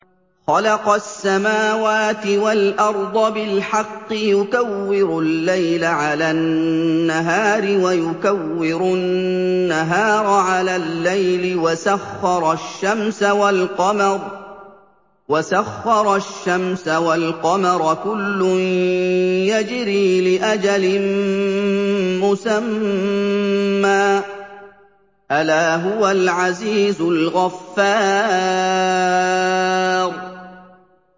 خَلَقَ السَّمَاوَاتِ وَالْأَرْضَ بِالْحَقِّ ۖ يُكَوِّرُ اللَّيْلَ عَلَى النَّهَارِ وَيُكَوِّرُ النَّهَارَ عَلَى اللَّيْلِ ۖ وَسَخَّرَ الشَّمْسَ وَالْقَمَرَ ۖ كُلٌّ يَجْرِي لِأَجَلٍ مُّسَمًّى ۗ أَلَا هُوَ الْعَزِيزُ الْغَفَّارُ